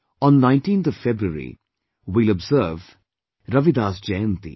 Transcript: On 19th February we will observe Ravidas Jayanti